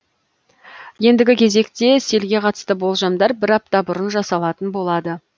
ендігі кезекте селге қатысты болжамдар бір апта бұрын жасалатын болады